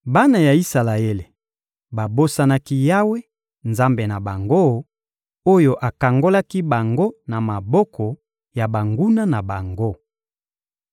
Bana ya Isalaele babosanaki Yawe, Nzambe na bango, oyo akangolaki bango na maboko ya banguna na bango.